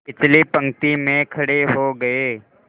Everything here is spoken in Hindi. पिछली पंक्ति में खड़े हो गए